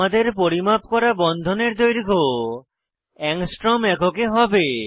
আমাদের পরিমাপ করা বন্ধনের দৈর্ঘ্য অ্যাংস্ট্রম এককে হবে